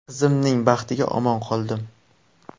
Qizimning baxtiga omon qoldim.